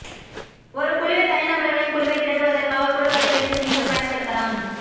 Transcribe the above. ஒரு குழுவில் தனிநபர்களின் குழுவைத் திரட்டுவதற்காக குழு கட்டிடத்தை நீங்கள் பயன்படுத்தலாம்